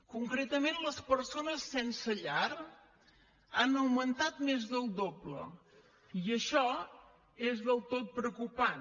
concretament les persones sense llar han augmentat més del doble i això és del tot preocupant